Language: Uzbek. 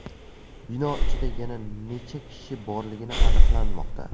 Bino ichida yana necha kishi borligini aniqlanmoqda.